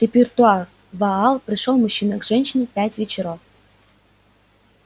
репертуар ваал пришёл мужчина к женщине пять вечеров